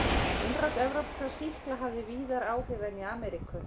Innrás evrópskra sýkla hafði víðar áhrif en í Ameríku.